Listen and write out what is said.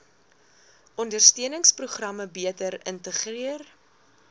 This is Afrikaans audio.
ondersteuningsprogramme beter integreer